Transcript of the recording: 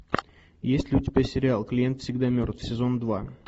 есть ли у тебя сериал клиент всегда мертв сезон два